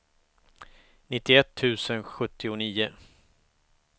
nittioett tusen sjuttionio